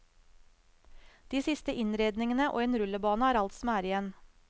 De siste innredningene og en rullebane er alt som er igjen.